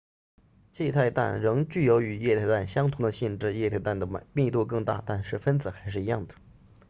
气态氮仍具有与液态氮相同的性质液态氮的密度更大但是分子还是一样的